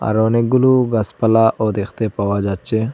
আরো অনেকগুলু গাসপালাও দেখতে পাওয়া যাচ্ছে।